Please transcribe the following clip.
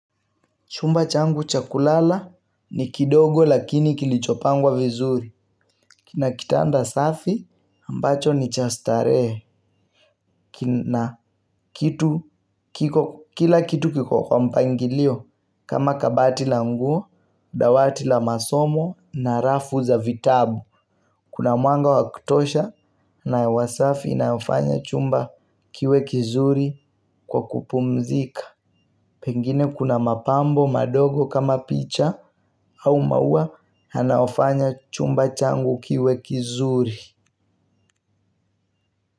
Chumba changu cha kulala ni kidogo lakini kilichopangwa vizuri. Kina kitanda safi ambacho ni cha starehe kina kitu kila kitu kiko kwa mpangilio. Kama kabati la nguo, dawati la masomo na rafu za vitabu. Kuna mwanga wa kutosha na hewa safi inayofanya chumba kiwe kizuri kwa kupumzika. Pengine kuna mapambo madogo kama picha au maua yanayofanya chumba changu kiwe kizuri.